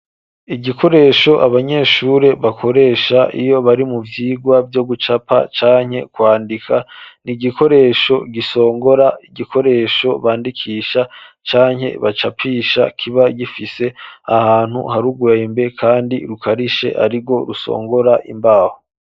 Igikoresho, abanyeshure bakoresha, iyo bari mu vyigwa, vyo gucapa, canke kwandika; ni igikoresho, gisongora, igikoresho bandikisha, canke bacapisha; kiba gifise ahantu, hari urwembe, kandi rukarishe, arirwo rusongora, imbaho.